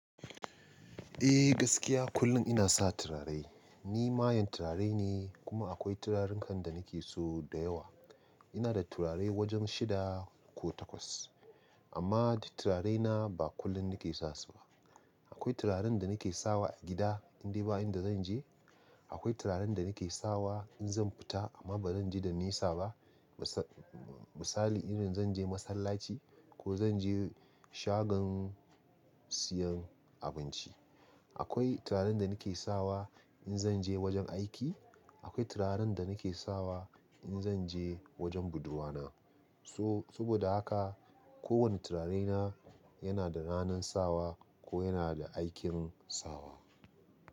Eh gaskiya kullum ina sa turare. Ni mayan turare ne kuma akwai turaren kan da nake so da yawa. Ina da turare wajen shida ko takwas amma turarena ba kullum nake sa su ba. Akwai turaren da nake sawa agida in dai ba inda zan je. Akwai turaren da nake sawa in zan fita amma ba zan je da nisa ba. Misali irin zan je masallaci ko zan je shagon siyan abinci. Akwai turaren da nake sawa in zan je wajen aiki. Akwai turaren da nake sawa in zan je wajen budurwa na. So saboda haka kowane turare na yana da ranan sawa ko yana da aikin sawa.